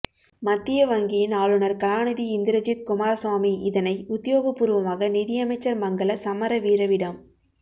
மத்திய வங்கியின் ஆளுநர் கலாநிதி இந்திரஜித் குமாரசுவாமி இதனை உத்தியோகப்பூர்வமாக நிதி அமைச்சர் மங்கள சமரவீரவிடம்